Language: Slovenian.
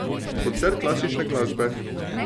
Koncert klasične glasbe.